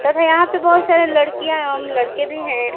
तथा यहां पे बहुत सारे लड़कियां एवं लड़के भी हैं।